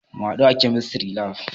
Mu hadu a Chemistry lab.